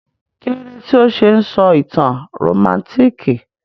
Kílódé tí o se n sọ ìtàn rómántikì?